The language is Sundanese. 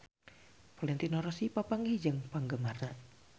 Valentino Rossi papanggih jeung penggemarna